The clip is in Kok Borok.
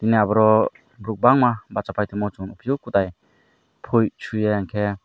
abo ro buruk bangma bacha pai nug kotai pui suia enke.